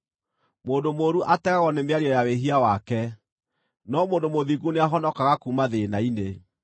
Mũndũ mũũru ategagwo nĩ mĩario ya wĩhia wake, no mũndũ mũthingu nĩahonokaga kuuma thĩĩna-inĩ.